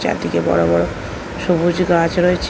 চারদিকে বড়ো বড়ো সবুজ গাছ রয়েছে